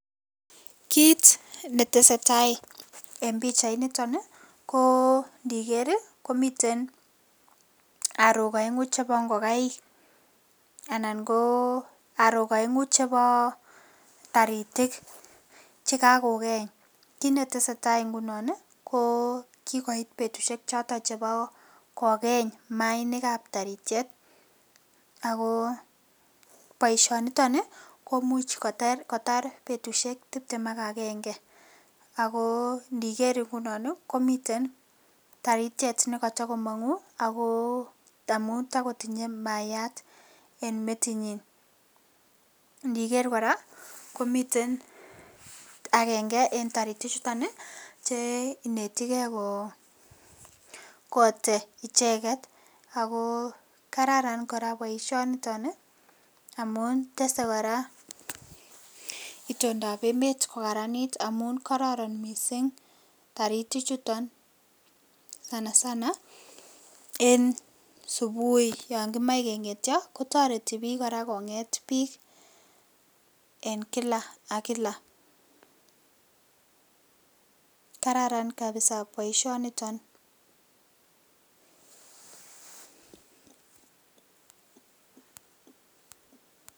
Kit netesee tai en pichainiton ii ko indiner ii komiten orok oengu chebo ingokaik anan ko orok oengu chebo taritik chekakokeny kit netesee taa ngunon ii koo kikoit betushek choton chebo kokeny maainikab taritiet, ako boishonito ii komuch kotar betushek tiptem ak agenge ako indiker ingunon ii komiten taritiet nekotokomonguu ako amun tokotinye maayat en metinyin indiker koraa komiten agenge en taritichuton ii che inetegee kotee icheket, ako kararan koraa boishoniton ii amun tesee koraa indondab emet kokaranit amun tesee koraa misink taritichuton sana sana en subui kotoreti koraa bik kongeet bik en kila ak kila kararan kabisa boishoniton.